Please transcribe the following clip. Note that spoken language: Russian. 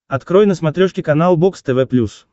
открой на смотрешке канал бокс тв плюс